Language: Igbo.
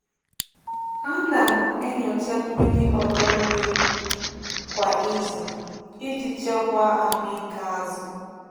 Ana m enyocha mmiri ọdọ mmiri kwa izu iji chekwaa ahụ ike azụ.